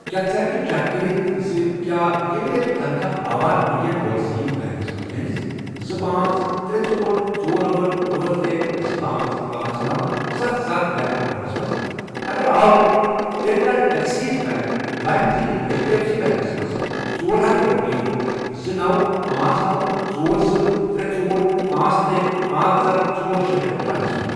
کیٛاہ ژٕ ہٮ۪کہٕ چیک کٔرِتھ زِ کیٛاہ ییٚمہِ رٮ۪تُک تنخواہ آوا اِنٛڈین اووَرسیٖز بیٚنٛک منٛز میٲنِس زٕ، پانژھ، ترے ژور ژور، أٹھ، أٹھ، ترے، زٕ، پانٛژھ ،پانٛژھ ،نوَ، ستھ، ستھ، بینک آکاونٹَس منٛز، اگر آو تیٚلہِ کَر ایٚکسِس بیٚنٛک لایِم ذٔریعہٕ H D F C banks منٛز ژۄر ہتھَ رۄپیہِ زٕ، نوَ، پانژھ، نوَ، ژۄر، زٕ، ترےژور ،پانژھ، ترے، پانژھ، اکھَ ژورشے، پٮ۪ٹھ ٹرانسفر؟